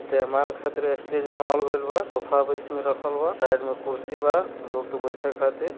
जयमाल खातिर स्टेज गेल बा सोफा बीच में रखल बा साइड मे कुर्सी बा लोक के बैठे खातिर।